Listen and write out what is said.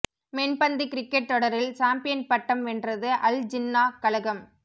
மென்பந்து cricket தொடரில் champion பட்டம் வென்றது அல் ஜின்னாஹ் கழகம்